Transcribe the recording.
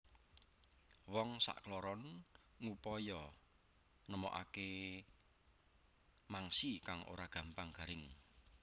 Wong sakloron ngupaya nemokake mangsi kang ora gampang garing